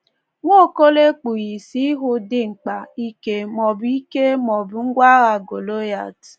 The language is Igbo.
Nwaokolo ekpughị isi ịhụ dimkpa, ike maọbụ ike maọbụ ngwa agha Golịat